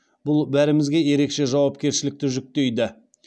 бұл бәрімізге ерекше жауапкершілікті жүктейді